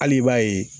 Hali i b'a ye